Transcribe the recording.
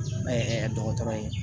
dɔgɔtɔrɔ ye